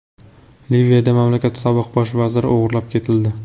Liviyada mamlakat sobiq bosh vaziri o‘g‘irlab ketildi.